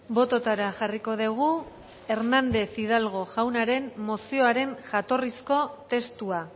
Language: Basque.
bototara jarriko dugu hernández hidalgo jaunaren mozioaren jatorrizko testua